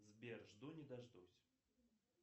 сбер жду не дождусь